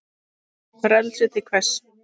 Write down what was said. Frelsi til hvers?